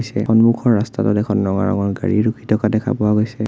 এই সন্মুখৰ ৰাস্তাটোত এখন ৰঙা ৰঙৰ গাড়ী ৰখি থকা দেখা পোৱা গৈছে।